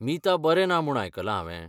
मीता बरें ना म्हूण आयकलां हावें.